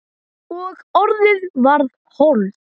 Og orðið varð hold.